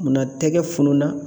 Munna tɛgɛ funu na